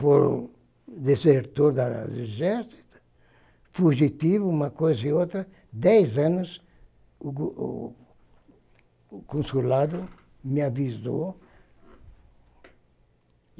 por desertor da do Exército, fugitivo, uma coisa e outra, dez anos, o o o consulado me avisou.